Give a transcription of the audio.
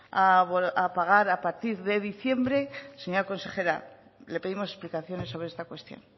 a pagar a partir de diciembre señora consejera le pedimos explicaciones sobre esta cuestión